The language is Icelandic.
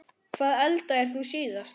Hvað eldaðir þú síðast?